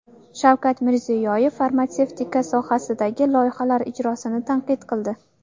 Shavkat Mirziyoyev farmatsevtika sohasidagi loyihalar ijrosini tanqid qildi.